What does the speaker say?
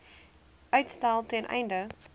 uitstel ten einde